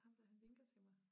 Ham dér han vinker til mig